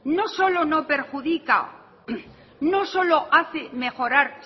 no solo no perjudica no solo hace mejorar